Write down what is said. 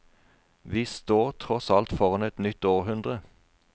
Vi står tross alt foran et nytt århundre.